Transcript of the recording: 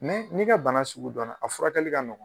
n'i ka bana sugu dɔnna a furakɛli ka nɔgɔn.